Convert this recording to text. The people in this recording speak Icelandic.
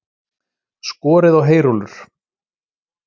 Skorið á heyrúllur